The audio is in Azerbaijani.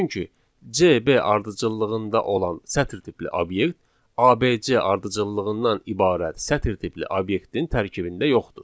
Çünki CB ardıcıllığında olan sətir tipli obyekt ABC ardıcıllığından ibarət sətir tipli obyektin tərkibində yoxdur.